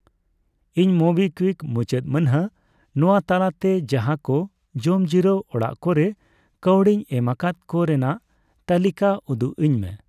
ᱤᱧ ᱢᱳᱵᱤᱠᱣᱤᱠ ᱢᱩᱪᱟᱹᱫ ᱢᱟᱹᱱᱦᱟᱹ ᱱᱚᱣᱟ ᱛᱟᱞᱟᱛᱮ ᱡᱟᱦᱟᱠᱚ ᱡᱚᱢᱡᱤᱨᱟᱹᱣ ᱚᱲᱟᱜ ᱠᱚᱨᱮ ᱠᱟ.ᱣᱰᱤᱧ ᱮᱢ ᱟᱠᱟᱫ ᱠᱚ ᱨᱮᱱᱟᱜ ᱛᱟᱹᱞᱤᱠᱟ ᱩᱫᱩᱜᱟᱹᱧᱢᱮ ᱾